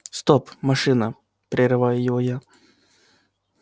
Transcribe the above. стоп машина прерываю его я